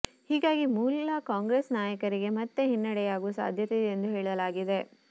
ಹೀಗಾಗಿ ಮೂಲ ಕಾಂಗ್ರೆಸ್ ನಾಯಕರಿಗೆ ಮತ್ತೆ ಹಿನ್ನಡೆಯಾಗುವ ಸಾಧ್ಯತೆ ಇದೆ ಎಂದು ಹೇಳಲಾಗಿದೆ